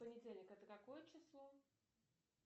понедельник это какое число